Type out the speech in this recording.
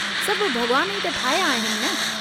सभु भगवान ई त ठाहिया आहिनि न।